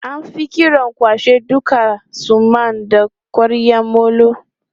An fi kiran kwashe duka suman da ƙwaryan molo.